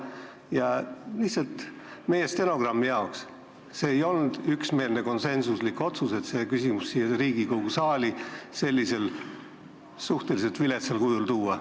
Ütlen lihtsalt meie stenogrammi jaoks: see ei olnud konsensuslik otsus, et see küsimus tuleks siia Riigikogu saali sellisel suhteliselt viletsal kujul tuua.